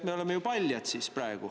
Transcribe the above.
Me oleme ju siis praegu paljad!